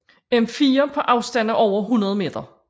M4 på afstande over 100 meter